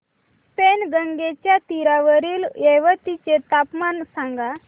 पैनगंगेच्या तीरावरील येवती चे तापमान सांगा